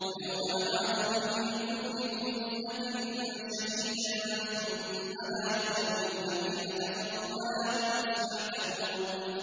وَيَوْمَ نَبْعَثُ مِن كُلِّ أُمَّةٍ شَهِيدًا ثُمَّ لَا يُؤْذَنُ لِلَّذِينَ كَفَرُوا وَلَا هُمْ يُسْتَعْتَبُونَ